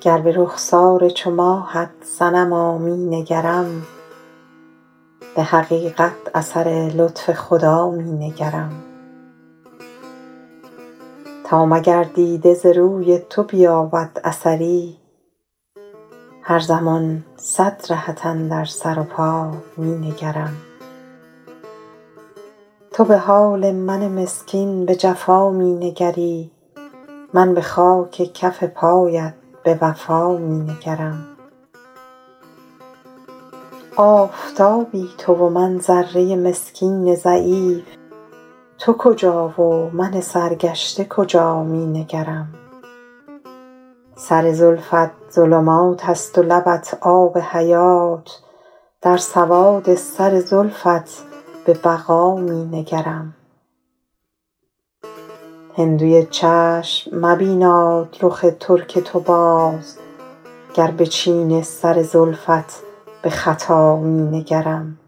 گر به رخسار چو ماهت صنما می نگرم به حقیقت اثر لطف خدا می نگرم تا مگر دیده ز روی تو بیابد اثری هر زمان صد رهت اندر سر و پا می نگرم تو به حال من مسکین به جفا می نگری من به خاک کف پایت به وفا می نگرم آفتابی تو و من ذره مسکین ضعیف تو کجا و من سرگشته کجا می نگرم سر زلفت ظلمات است و لبت آب حیات در سواد سر زلفت به خطا می نگرم هندوی چشم مبیناد رخ ترک تو باز گر به چین سر زلفت به خطا می نگرم